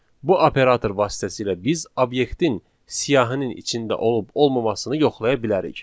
bu operator vasitəsilə biz obyektin siyahının içində olub-olmamasını yoxlaya bilərik.